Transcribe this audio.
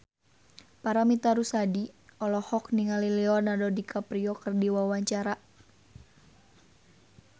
Paramitha Rusady olohok ningali Leonardo DiCaprio keur diwawancara